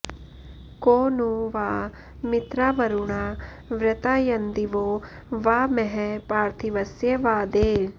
को नु वां॑ मित्रावरुणावृता॒यन्दि॒वो वा॑ म॒हः पार्थि॑वस्य वा॒ दे